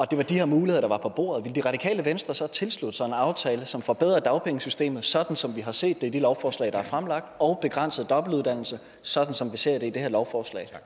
det var de her muligheder der var på bordet ville det radikale venstre så tilslutte sig en aftale som forbedrede dagpengesystemet sådan som vi har set det i de lovforslag der er fremlagt og begrænse dobbeltuddannelse sådan som vi ser det i det her lovforslag